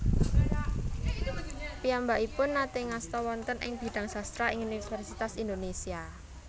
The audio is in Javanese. Piyambakipun naté ngasta wonten ing bidang sastra ing Universitas Indonesia